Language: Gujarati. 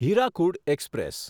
હીરાકુડ એક્સપ્રેસ